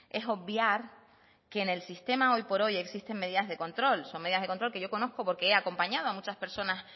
es obviar que en el sistema hoy por hoy existen medidas de control son medidas de control que yo conozco porque he acompañado a muchas personas